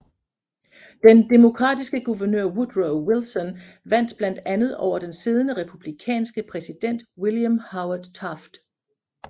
Den demokratiske guvernør Woodrow Wilson vandt blandt andet over den siddende republikanske præsident William Howard Taft